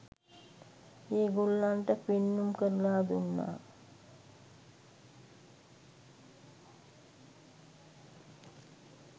ඒ ගොල්ලන්ට පෙන්නුම් කරලා දුන්නා.